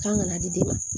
K'an ka na di den ma